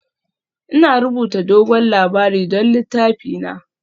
Ina rubuta dogon labari don littafina